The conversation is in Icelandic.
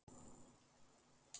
Talaðu við hana.